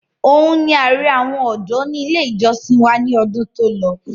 Òun ni ààrẹ àwọn ọ̀dọ́ ní ilé ìjọsìn wa ní ọdún tí ó lọ